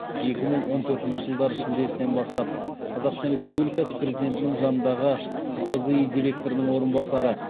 екі мың он төртінші жылдың шілдесінен бастап қазақстан республикасының президентінің жанындағы қсзи директорының орынбасары